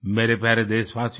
मेरे प्यारे देशवासियो